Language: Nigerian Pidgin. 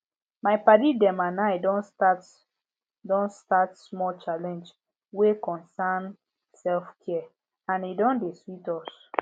my padi dem and i don start don start small challenge wey concern selfcare and e don dey sweet us